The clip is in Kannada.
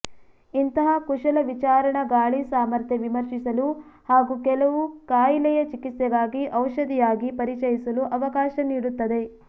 ಇಂತಹ ಕುಶಲ ವಿಚಾರಣಾ ಗಾಳಿ ಸಾಮರ್ಥ್ಯ ವಿಮರ್ಶಿಸಲು ಹಾಗೂ ಕೆಲವು ಖಾಯಿಲೆಯ ಚಿಕಿತ್ಸೆಗಾಗಿ ಔಷಧಿಯಾಗಿ ಪರಿಚಯಿಸಲು ಅವಕಾಶ ನೀಡುತ್ತದೆ